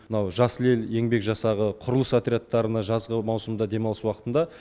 мынау жасыл ел еңбек жасағы құрылыс отрядтарына жазғы маусымда демалыс уақытында